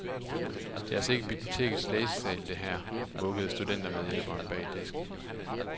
Det er altså ikke bibliotekets læsesal, det her, mukkede studentermedhjælpen bag disken.